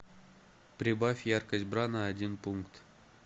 прибавь яркость бра на один пункт